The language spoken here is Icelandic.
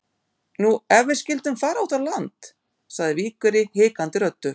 Nú, ef við skyldum fara út á land? sagði Víkverji hikandi röddu.